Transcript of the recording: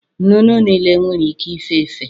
Nnụnụ niile nwere ike ife efe